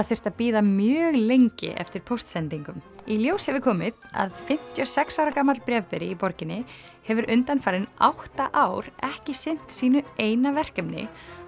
þurft að bíða mjög lengi eftir póstsendingum í ljós hefur komið að fimmtíu og sex ára gamall bréfberi í borginni hefur undanfarin átta ár ekki sinnt sínu eina verkefni